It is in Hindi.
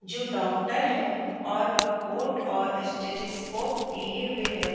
जो डॉक्टर है और वह कोट और स्ट्रेचेज लिए हुए हैं।